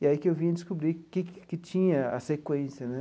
E aí que eu vim a descobrir que que tinha a sequência né.